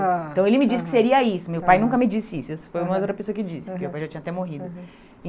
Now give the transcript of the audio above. Então ele me disse que seria isso, meu pai nunca me disse isso, isso foi uma outra pessoa que disse, porque o meu pai já tinha até morrido.